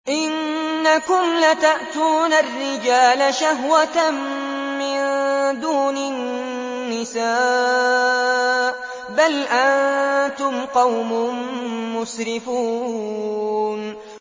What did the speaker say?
إِنَّكُمْ لَتَأْتُونَ الرِّجَالَ شَهْوَةً مِّن دُونِ النِّسَاءِ ۚ بَلْ أَنتُمْ قَوْمٌ مُّسْرِفُونَ